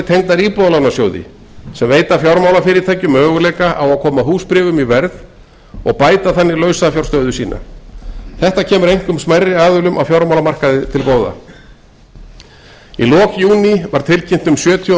tengdar íbúðalánasjóði sem veita fjármálafyrirtækjum möguleika á að koma húsbréfum í verð og bæta þannig lausafjárstöðu sína þetta kemur einkum smærri aðilum á fjármálamarkaði til góða í lok júní var tilkynnt um sjötíu og